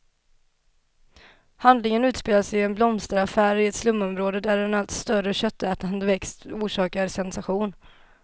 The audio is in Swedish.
Handlingen utspelas i en blomsterhandel i ett slumområde, där en allt större köttätande växt orsakar sensation.